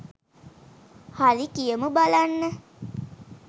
හරි කියමු බලන්න